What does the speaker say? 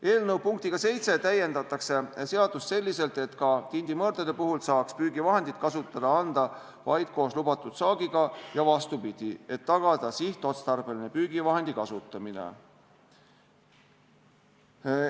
Eelnõu punktiga 7 täiendatakse seadust selliselt, et ka tindimõrdade puhul saaks püügivahendeid kasutada anda vaid koos lubatud saagiga ja vastupidi, et tagada sihtotstarbeline püügivahendi kasutamine.